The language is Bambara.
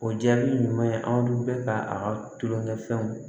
O jaabi ɲuman ye anw bɛ ka a ka tulonkɛfɛnw